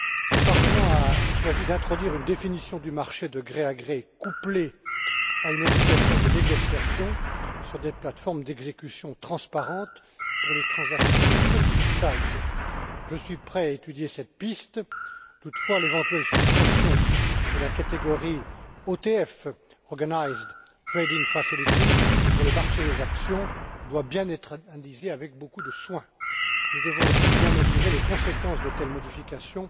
Le Parlement a choisi d'introduire une définition du marché de gré à gré, couplée à une obligation de négociation sur des plates formes d'exécution transparentes pour les transactions de petite taille. Je suis prêt à étudier cette piste toutefois l'éventuelle suppression de la catégorie OTF pour le marché des actions doit être analysée avec beaucoup de soin. Nous devons, aussi, bien mesurer les conséquences de telles modifications